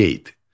Qeyd.